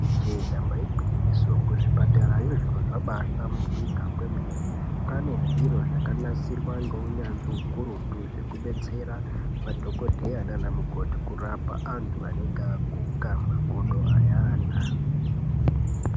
Ijee damba igwinyiso, kuzvipatarayo zviro zvabahlamburika kwemene. Kwane zviro zvakanasirwa ngeunyanzvi ukurutu, zvekubetsera madhokodheya naanamukoti kurapa antu anenge aguka makodo ayana.